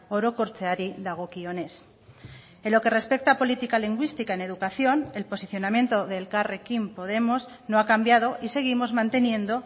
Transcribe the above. orokortzeari dagokionez en lo que respecta a política lingüística en educación el posicionamiento de elkarrekin podemos no ha cambiado y seguimos manteniendo